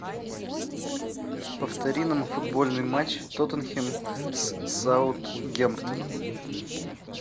повтори нам футбольный матч тоттенхэм с саутгемптоном